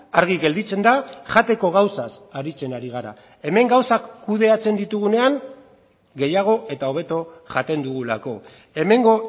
argi gelditzen da jateko gauzaz aritzen ari gara hemen gauzak kudeatzen ditugunean gehiago eta hobeto jaten dugulako hemengo